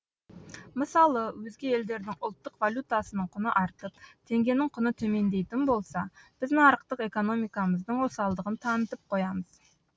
мысалы өзге елдердің ұлттық валютасының құны артып теңгенің құны төмендейтін болса біз нарықтық экономикамыздың осалдығын танытып қоямыз